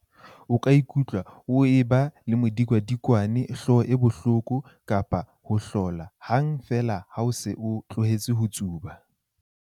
O ka ikutlwa o eba le modikwadikwane, hlooho e bohloko kapa ho ohlola hang feela ha o se o tlohetse ho tsuba.